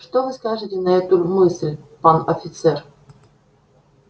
что вы скажете на эту мысль пан офицер